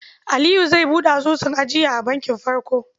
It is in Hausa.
Aliyu zai buɗe asusun ajiya a bankin Farko.